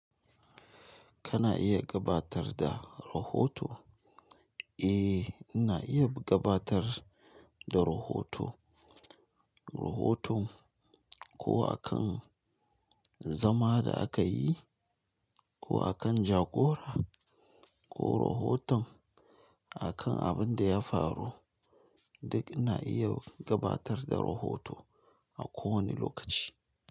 Kana iya gabatar da rahoto? Eh, ina iya gabatar da rahoto. Rohoton ko akan zama da aka yi, ko akan jagora, ko rohoton akan abin da ya faru, duk ina iya gabatar da rohoto a kowane lokaci.